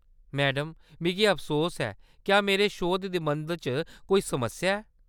Madam, मिगी अफसोस ऐ, क्या मेरे शोध-निबंध च कोई समस्या ऐ ?